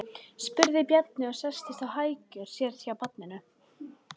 spurði Bjarni og settist á hækjur sér hjá barninu.